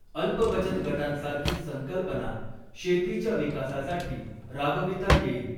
अल्पबचतगटांसारखी संकल्पना शेतीच्या विकासासाठी राबविता येईल.